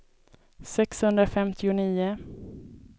sexhundrafemtionio